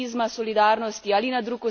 Odgovornost je skupna.